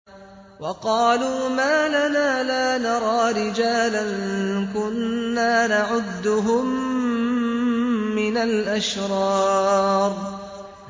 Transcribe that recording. وَقَالُوا مَا لَنَا لَا نَرَىٰ رِجَالًا كُنَّا نَعُدُّهُم مِّنَ الْأَشْرَارِ